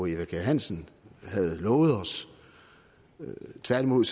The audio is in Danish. eva kjer hansen havde lovet os tværtimod